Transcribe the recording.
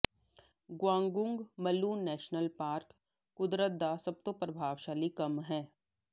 Gunung Mulu national park ਕੁਦਰਤ ਦਾ ਸਭ ਤੋਂ ਪ੍ਰਭਾਵਸ਼ਾਲੀ ਕੰਮ ਹੈ